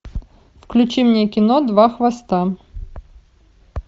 включи мне кино два хвоста